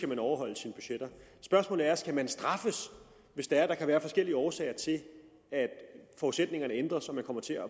man overholde sine budgetter spørgsmålet er skal man straffes hvis det er at der kan være forskellige årsager til at forudsætningerne ændres så man kommer til at